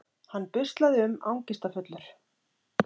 Hann buslaði um angistarfullur.